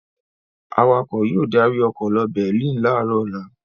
Awakọ̀ yóò darí ọkọ̀ lọ Berlin láàárọ̀ ọ̀la.